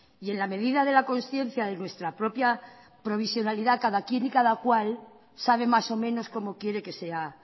y en la medida de la conciencia de nuestra propia provisionalidad cada quien y cada cual sabe más o menos cómo quiere que sea